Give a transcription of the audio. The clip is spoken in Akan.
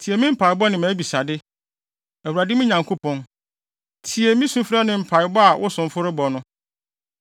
Tie me mpaebɔ ne mʼabisade, Awurade, me Nyankopɔn. Tie sufrɛ ne mpae a wo somfo rebɔ no.